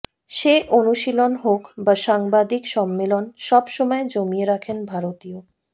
সে অনুশীলন হোক বা সাংবাদিক সম্মেলন সব সময় জমিয়ে রাখেন ভারতীয়